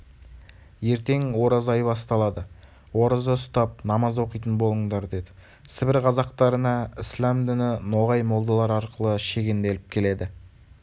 ертең ораза айы басталады ораза ұстап намаз оқитын болыңдар деді сібір қазақтарына ісләм діні ноғай молдалар арқылы шегенделіп келеді